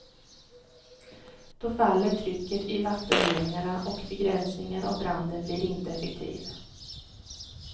Då faller trycket i vattenledningarna och begränsningen av branden blir inte effektiv.